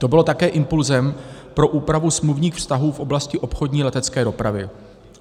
To bylo také impulsem pro úpravu smluvních vztahů v oblasti obchodní letecké dopravy.